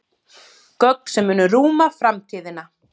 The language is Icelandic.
Göng sem munu rúma framtíðina